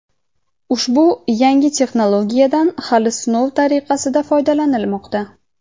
ushbu yangi texnologiyadan hali sinov tariqasida foydalanilmoqda.